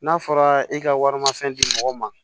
N'a fɔra i ka warimafɛn di mɔgɔw ma